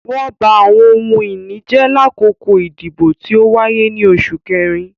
Wọn ba awọn ohun-ini jẹ lakoko idibo ti o waye ni Oṣu Kẹrin